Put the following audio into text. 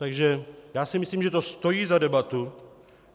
Takže já si myslím, že to stojí za debatu.